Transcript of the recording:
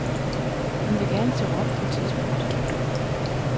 Hun vil gerne til Rom på et tidspunkt.